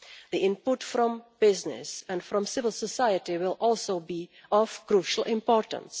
The input from business and from civil society will also be of crucial importance.